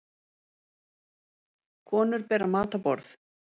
Konur bera mat á borð